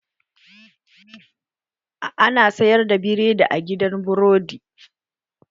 Ana sayar da biredi a gidan burodi?